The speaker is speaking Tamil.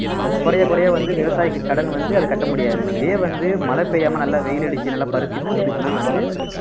குறைய குறைய வந்து விவசாயிக்கு கடன் வந்து அத கட்ட முடியாது இதே வந்து மழை பெய்யாம நல்லா வெயில் அடிச்சு நல்லா பருத்தி பூத்துச்சுன்னா வந்து